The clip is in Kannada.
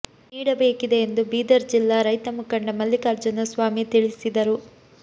ನೀಡಬೇಕಿದೆ ಎಂದು ಬೀದರ್ ಜಿಲ್ಲಾ ರೈತ ಮುಖಂಡ ಮಲ್ಲಿಕಾರ್ಜುನ ಸ್ವಾಮಿ ತಿಳಿಸಿದರು